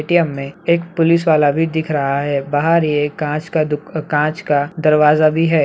ATM. में एक police वाला भी दिख रहा है बाहर एक कांच का दु कांच का दरवाजा भी है।